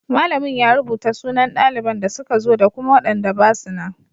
Malamin ya rubuta sunan daliban da suka zo da kuma waɗanda basu nan.